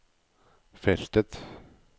feltet